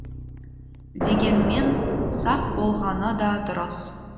дегенмен сақ болғаны да дұрыс